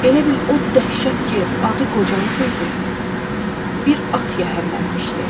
Elə bil o dəhşət ki, adı qocalıq idi, bir at yəhərlənmişdi.